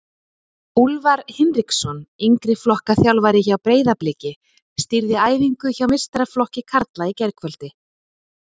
Úlfar Hinriksson, yngri flokka þjálfari hjá Breiðabliki, stýrði æfingu hjá meistaraflokki karla í gærkvöldi.